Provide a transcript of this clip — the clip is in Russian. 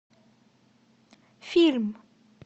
фильм